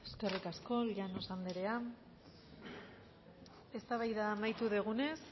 eskerrik asko llanos andrea eztabaida amaitu dugunez